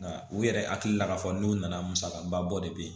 Nka u yɛrɛ hakili la k'a fɔ n'u nana musakaba bɔ de bɛ ye